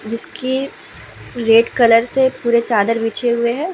जिसके red colour से पुरे चादर बिछे हुए है ।